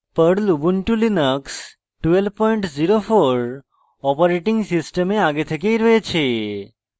perl ubuntu linux 1204 operating সিস্টেমে আগে থেকেই রয়েছে